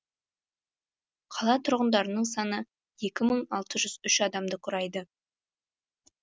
қала тұрғындарының саны екі мың алты жүз үш адамды құрайды